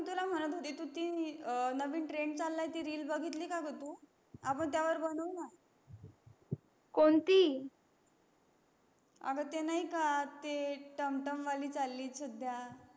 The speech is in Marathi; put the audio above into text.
मी तुला म्हणत होती तू ती नवीन trend चाlलय ते reel बगीतली का ग तू आपण त्या वर बनवू ना कोणती अग ते नाही का ते टंम टंम वाली चाली सध्या